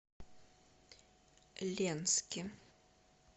ленске